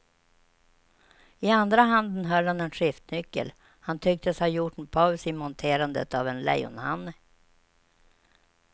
I andra handen höll han en skiftnyckel, han tycktes ha gjort en paus i monterandet av en lejonhanne.